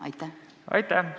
Aitäh!